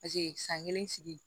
Paseke san kelen sigi